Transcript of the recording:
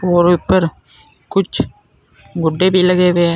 और ऊपर कुछ गुड्डे भी लगे हुए हैं।